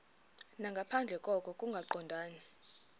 nangaphandle koko kungaqondani